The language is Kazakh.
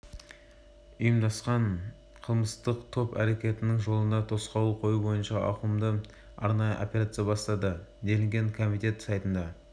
ұйымдасқан қылмыстық топ әректенің жолына тосқауыл қою бойынша ауқымды арнайы операция бастады делінген комитет сайтында